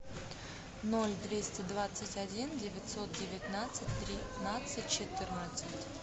ноль двести двадцать один девятьсот девятнадцать тринадцать четырнадцать